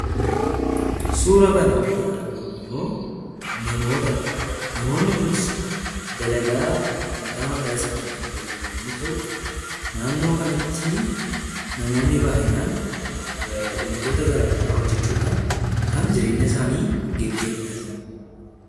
Suura kanarratti kan argamu immoo namootadha. Namoonni kunis dalagaa mataa mataa isaanii kan hojjetan yommuu ta'u, naannoo kanatti namoonni baay'inaan wantoota gara garaa hojjechudhaan kan jireenya isaanii gaggeeffataniidha.